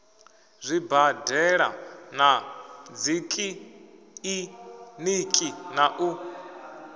zwibadela na dzikiḽiniki na u